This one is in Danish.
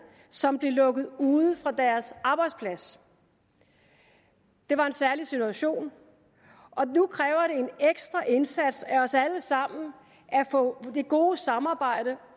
som blev lukket ude fra deres arbejdsplads det var en særlig situation og nu kræver det en ekstra indsats af os alle sammen at få det gode samarbejde